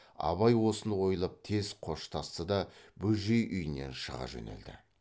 абай осыны ойлап тез қоштасты да бөжей үйінен шыға жөнелді